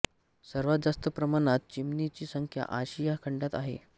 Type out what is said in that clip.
सर्वात जास्त प्रमाणात चिमणी ची संख्या आशिया खंडात आहे